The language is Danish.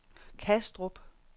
Kastrup